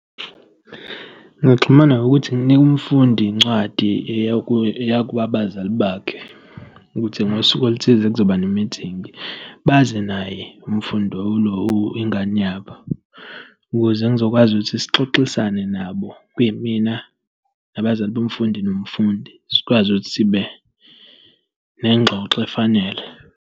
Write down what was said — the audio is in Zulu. Ngingaxhumana ngokuthi nginike umfundi incwadi eya eya kubazali bakhe, ukuthi ngosuku oluthile kuzoba ne-meeting. Baze naye umfundi ingane yabo, ukuze ngizokwazi ukuthi sixoxisane nabo, kuyimina nabazali bomfundi nomfundi, sikwazi ukuthi sibe nengxoxo efanele.